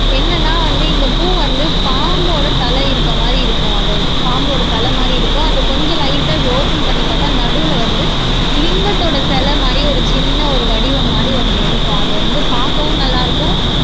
என்னன்னா வந்து இந்த பூ வந்து பாம்போட தலை இருக்கிற மாதிரி இருக்கும் அதோட பாம்போட தலை மாதிரி இருக்கும் அத கொஞ்சம் லைட்டா இப்படி ஒப்பன் பண்ணி பார்த்தா நடுவுல வந்து லிங்கத்தோட சிலை மாதிரி ஒரு சின்ன ஒரு வடிவம் மாதிரி ஒண்ணு இருக்கும் அது வந்து பார்க்கவும் நல்லா இருக்கும்